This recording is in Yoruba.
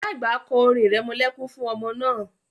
Ìyá àgbà kọ́ orin irẹmọlẹ́kún fún ọmọ náà